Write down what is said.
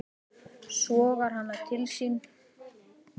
Sogar hana til sín.